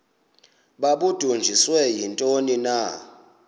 babudunjiswe yintoni na